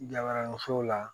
Gabaara muso la